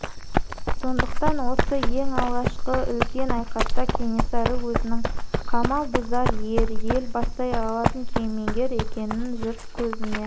сондықтан осы ең алғашқы үлкен айқаста кенесары өзінің қамал бұзар ер ел бастай алатын кемеңгер екенін жұрт көзіне